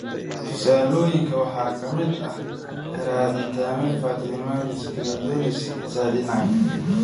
Tusaalooyinka waxaa ka mid ah ranitidine, famotidine, cimetidine iyo nizatidine.